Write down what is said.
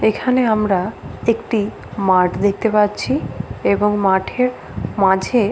এখানে আমরা একটি মাঠ দেখতে পাচ্ছি এবং মাঠের মাঝে--